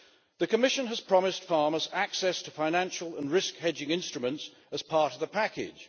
The Commission has promised farmers access to financial and risk hedging instruments as part of the package.